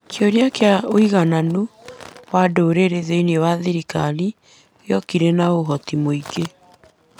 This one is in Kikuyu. Kĩũria kĩa ũiganano wa ndũrĩrĩ, thiĩnĩ wa thirikari, gĩokire na ũhoti mũingĩ.